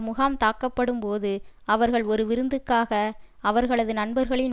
முகாம் தாக்கப்படும் போது அவர்கள் ஒரு விருந்துக்காக அவர்களது நண்பர்களின்